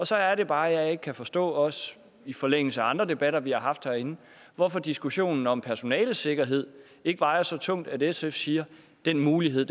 så er det bare at jeg ikke kan forstå også i forlængelse af andre debatter vi har haft herinde hvorfor diskussionen om personalets sikkerhed ikke vejer så tungt at sf siger den mulighed